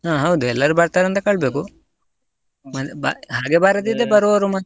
ಹಾ ಹೌದು ಎಲ್ಲಾರು ಬರ್ತಾರ ಅಂತ ಕೇಳ್ಬೇಕು, ಮತ್ತೆ ಬ ಬರುವವರು ಮಾತ್ರ.